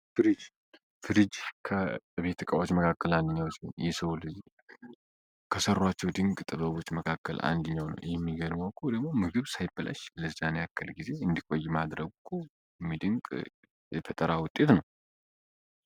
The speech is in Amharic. ፍርጅ ቤት እቃዋዎች መካከል አንድኛው ሲሆን ይስዎሎጊ ከሠሯቸው ድንቅ ጥበቦች መካከል አንድኛው ነው የሚገድሞ ኮ ደሞ ምግብ ሳይpላሽ ለዛን ያከል ጊዜ እንዲቆይ ማድረግ ቁ የሚድንቅ የፈጠራ ውጤት ነው።